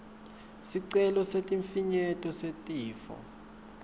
sicelo sesifinyeto setifo